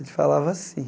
A gente falava assim.